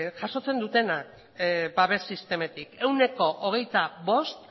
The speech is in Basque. jasotzen dutenak babes sistematik ehuneko hogeita bost